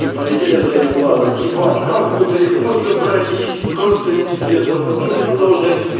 и полетели за этим кланом ебать как мы далеко забрались и просто пиздец а потом я туда уже один